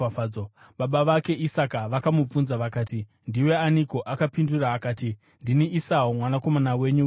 Baba vake Isaka vakamubvunza vakati, “Ndiwe aniko?” Akapindura akati, “Ndini Esau mwanakomana wenyu wedangwe.”